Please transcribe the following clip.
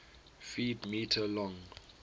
ft m long